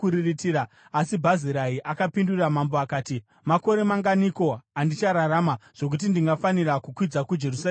Asi Bhazirai akapindura mambo akati, “Makore manganiko andichararama, zvokuti ndingafanira kukwidza kuJerusarema namambo?